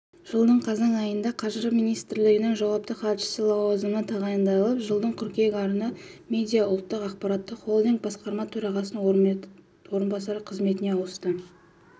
жылдың қазан айында қаржы министрлігінің жауапты хатшысы лауазымына тағайындалып жылдың қыркүйегінен арна медиа ұлттық ақпараттық холдинг басқарма төрағасының орынбасары қызметіне ауысты